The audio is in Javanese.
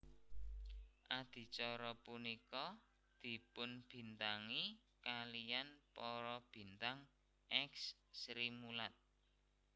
Adicara punika dipunbintangi kaliyan para bintang èks Srimulat